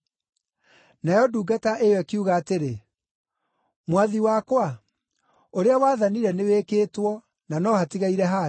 “Nayo ndungata ĩyo ĩkiuga atĩrĩ, ‘Mwathi wakwa, ũrĩa wathanire nĩwĩkĩtwo, na no hatigaire handũ.’